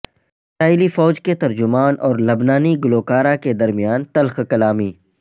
اسرائیلی فوج کے ترجمان اور لبنانی گلوکارہ کے درمیان تلخ کلامی